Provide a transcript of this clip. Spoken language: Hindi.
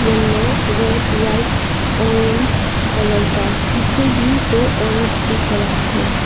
Yellow red white orange colour का पीछे भी दो औरत दिख रहा है।